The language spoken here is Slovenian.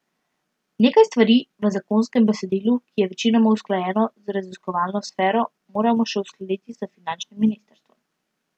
Nekaj stvari v zakonskem besedilu, ki je večinoma usklajeno z raziskovalno sfero, moramo še uskladiti s finančnim ministrstvom.